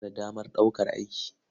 Kana da damar ɗaukar aiki?